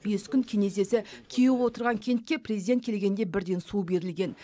бес күн кенезесі кеуіп отырған кентке президент келгенде бірден су берілген